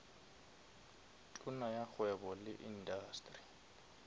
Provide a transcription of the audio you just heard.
tona ya kgwebo le indasteri